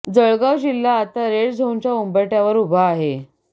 जळगाव जिल्हा आता रेड झोनच्या उंबरठ्यावर उभा आहे